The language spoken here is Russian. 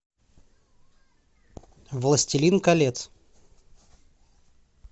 властелин колец